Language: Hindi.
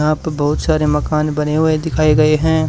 यहां पे बहोत सारे मकान बने हुए दिखाए गए हैं।